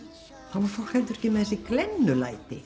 þá var fólk heldur ekki með þessi